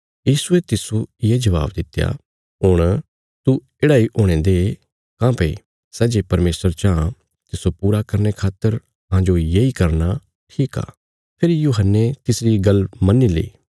यीशुये तिस्सो ये जबाब दित्या हुण तू येढ़ा इ हुणे दे काँह्भई सै जे परमेशर चाँह तिस्सो पूरा करने खातर अहांजो येई करना ठीक आ फेरी यूहन्ने तिसरी गल्ल मन्नी ली